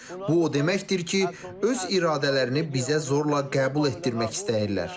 Bu o deməkdir ki, öz iradələrini bizə zorla qəbul etdirmək istəyirlər.